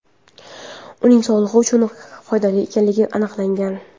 Uning sog‘liq uchun ham foydali ekanligi aniqlangan.